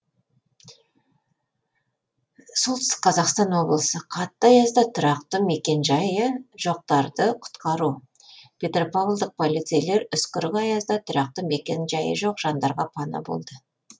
сқо қатты аязда тұрақты мекенжайы жоқтарды құтқару петропавлдық полицейлер үскірік аязда тұрақты мекенжайы жоқ жандарға пана болды